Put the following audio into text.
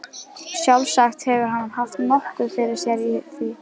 Sjálfsagt hefur hann haft nokkuð fyrir sér í því.